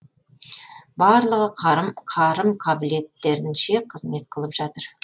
барлығы қарым қабілеттерінше қызмет қылып жатыр